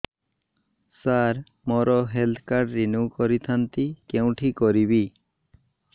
ସାର ମୋର health card renew କରିଥାନ୍ତି କେଉଁଠି କରିବି